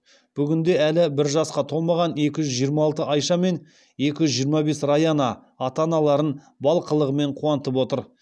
бүгінде әлі бір жасқа толмаған екі жүз жиырма алты айша мен екі жүз жиырма бес раяна ата аналарын бал қылығымен қуантып отыр